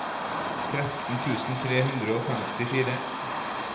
tretten tusen tre hundre og femtifire